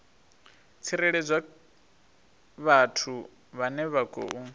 tsireledzwa vhathu vhane vha khou